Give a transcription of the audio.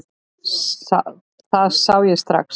Það sá ég strax.